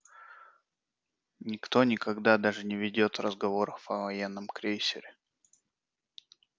никто никогда даже не ведёт разговоров о военном крейсере